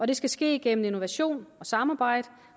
det skal ske igennem innovation og samarbejde